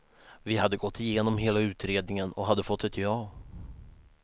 Vi hade gått igenom hela utredningen och hade fått ett ja.